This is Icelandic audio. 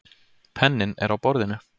Penninn er á borðinu.